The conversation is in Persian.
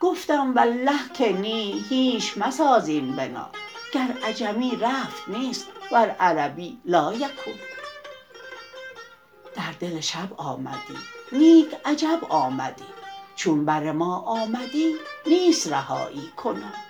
گفتم والله که نی هیچ مساز این بنا گر عجمی رفت نیست ور عربی لایکون در دل شب آمدی نیک عجب آمدی چون بر ما آمدی نیست رهایی کنون